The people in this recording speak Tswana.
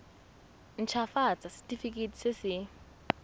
nt hafatsa setefikeiti se se